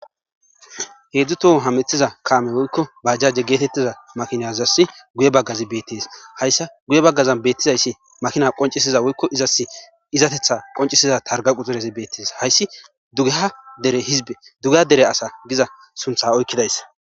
heedzdzu tohon hametiza kaame woykko bajjaje geetettiza makinazass guye baggazi beettees hayssa guye baggazan beettizayssi makina qoncisiza woykko izas izatetha qoncisiza targa quxurezi beettis hayssi dugeha dere hizbe duga dere asa giza suntha oykkidays